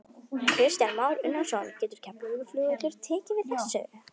Kristján Már Unnarsson: Getur Keflavíkurflugvöllur tekið við þessu?